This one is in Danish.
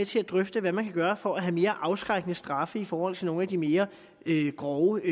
til at drøfte hvad man kan gøre for at have mere afskrækkende straffe i forhold til nogle af de mere grove